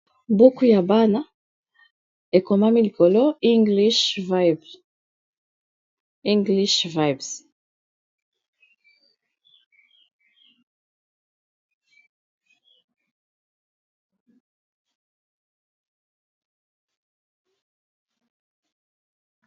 buku ya bana ekomami likolo english vibes